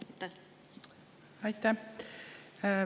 Aitäh!